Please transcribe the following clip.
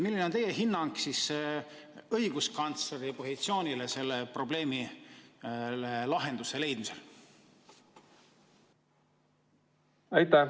Milline on teie hinnang õiguskantsleri positsioonile sellele probleemile lahenduse leidmisel?